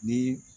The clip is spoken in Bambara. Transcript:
Ni